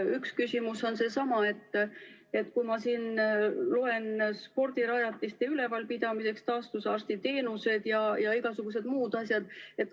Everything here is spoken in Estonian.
Üks küsimus tekib, kui ma loen spordirajatiste üleval pidamisest, taastusraviarsti teenustest ja igasugustest muudest asjadest.